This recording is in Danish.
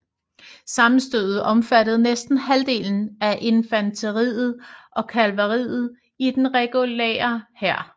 Sammenstødet omfattede næsten halvdelen af infanteriet og kavaleriet i den regulære hær